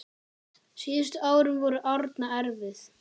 Síðustu árin voru Árna erfið.